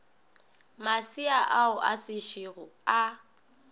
masea ao a sešogo a